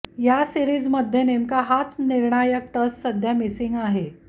या सीरिजमध्ये नेमका हाच निर्णायक टच सध्या मिसिंग आहे